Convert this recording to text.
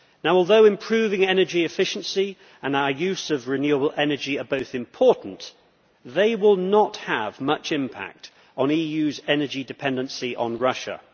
While improving energy efficiency and our use of renewable energy are both important, they will not have much impact on the EU's energy dependency on Russia.